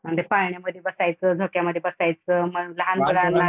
अन ते पाळण्यामधी बसायचं, झोक्यामधी बसायचं मग लहान मुलांना